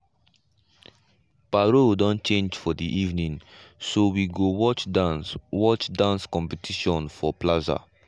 parole don change for the evening so we go watch dance watch dance competition for plaza.